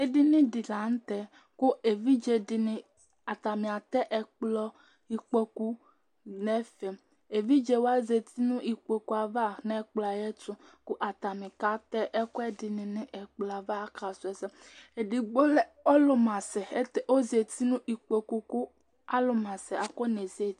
Ɛdiní di la ntɛ kʋ evidze dìní atani atɛ ɛkplɔ, ikpoku nʋ ɛfɛ Evidze wa zɛti nʋ ikpoku ava nʋ ɛkplɔ yɛ ɛtu kʋ atani kata ɛkʋɛdi ni nʋ ɛkplɔ yɛ ava Akasu ɛsɛ Ɛdigbo, ɔlu masɛ ɔzɛ nʋ ikpoku kʋ alu masɛ afɔne zɛti